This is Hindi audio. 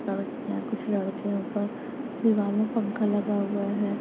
लड़कियां कुछ लड़के ऊपर दीवार में पंखा लगा हुआ है।